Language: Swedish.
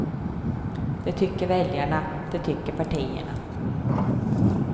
Det tycker väljarna, det tycker partierna.